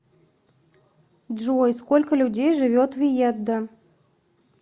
джой сколько людей живет в иеддо